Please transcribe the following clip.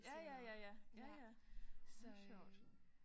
Ja ja ja ja ja ja så sjovt